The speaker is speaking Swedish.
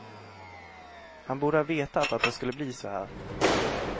Han borde ha vetat att det skulle bli så här.